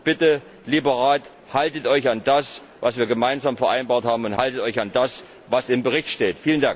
Also bitte, lieber Rat, haltet Euch an das, was wir gemeinsam vereinbart haben, und haltet Euch an das, was im Bericht steht!